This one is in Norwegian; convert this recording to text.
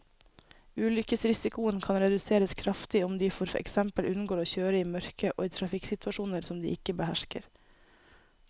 Ulykkesrisikoen kan reduseres kraftig om de for eksempel unngår å kjøre i mørket og i trafikksituasjoner som de ikke behersker.